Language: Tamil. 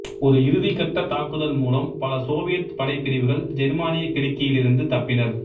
ஒரு இறுதி கட்ட தாக்குதல் மூலம் பல சோவியத் படைப்பிரிவுகள் ஜெர்மானியக் கிடுக்கியிலிருந்து தப்பினர்